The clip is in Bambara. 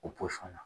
O posɔn na